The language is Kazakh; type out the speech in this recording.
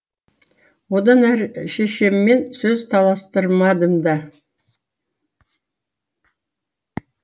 одан әрі шешеммен сөз таластырмадым да